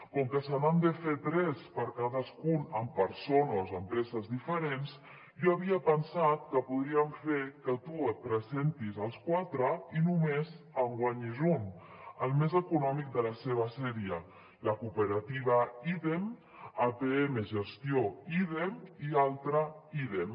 com que se n’han de fer tres per a cadascun amb persones o empreses diferents jo havia pensat que podríem fer que tu et presentis als quatre i només en guanyis un el més econòmic de la seva sèrie la cooperativa ídem apm gestió ídem i l’altra ídem